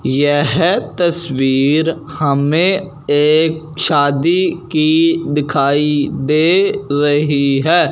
यह तस्वीर हमें एक शादी की दिखाई दे रही है।